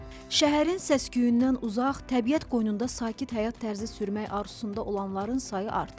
Şəhərin səs-küyündən uzaq, təbiət qoynunda sakit həyat tərzi sürmək arzusunda olanların sayı artıb.